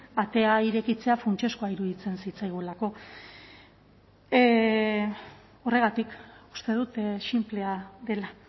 atea irekitzea funtsezkoa iruditzen zitzaigulako horregatik uste dut sinplea dela